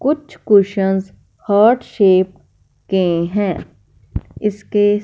कुछ cushion heart shape के हैं इसके--